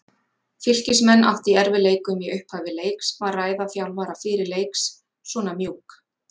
Fylkismenn áttu í erfiðleikum í upphafi leiks, var ræða þjálfara fyrir leiks svona mjúk?